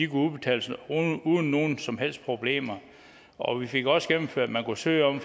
kunne udbetales uden nogen som helst problemer og vi fik også gennemført at man kunne søge om